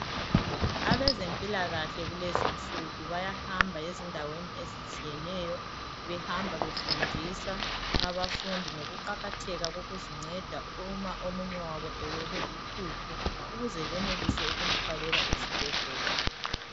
Abezempilakahle kulezinsuku bayahamba ezindaweni ezitshiyeneyo behamba befundisa abafundi ngokuqakatheka kokuzinceda uma omunye wabo ewelwe luhlupho ukuze benelise ukumthwalela esibhedlela.